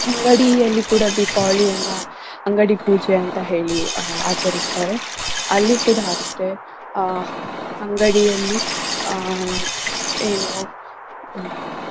ಅಂಗಡಿಯಲ್ಲಿ ಕೂಡಾ ದೀಪವಳಿಯನ್ನ ಅಂಗಡಿ ಪೂಜೆ ಅಂತ ಹೇಳಿ ಆಹ್ ಆಚರಿಸ್ತಾರೆ. ಅಲ್ಲಿ ಕೂಡಾ ಅಷ್ಟೆ ಆಹ್ ಅಂಗಡಿಯಲ್ಲಿ ಆಹ್ ಏನು